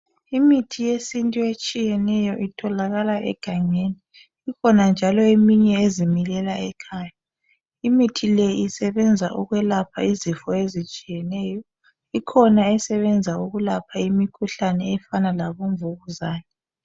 Imithi yesintu etshiyeneyo itholakala egangeni, kukhona njalo eminye ezimilela ekhaya. Imithi le isebenza ukwelapha izifo ezitshiyeneyo. Ikhona esebenza ukulapha imikhuhlana efana labo mvukuzane.